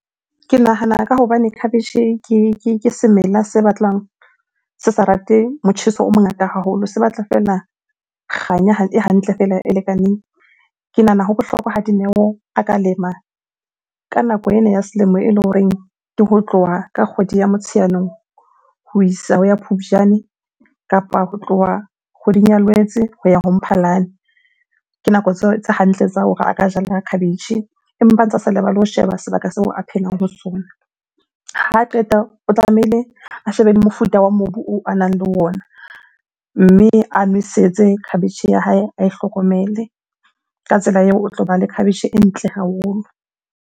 Ke nahana ka hobane khabetjhe ke semela se batlang se sa rate motjheso o mongata haholo, se batla feela kganya e hantle feela e lekaneng. Ke nahana ho bohlokwa ha Dineo a ka lema ka nako ena ya selemo eleng horeng ke ho tloha ka kgwedi ya Motsheanong ho isa ho ya Phupjane, kapa ho tloha kgweding Lwetse ho ya ho Mphalane. Ke nako tse hantle tsa hore a ka jala khabetjhe, empa a ntsa sa lebale ho sheba sebaka seo a phelang ho sona. Ha qeta o tlamehile a shebe le mofuta wa mobu oo a nang le ona, mme a nwesetse khabetjhe ya hae, ae hlokomele. Ka tsela eo o tloba le khabetjhe e ntle haholo.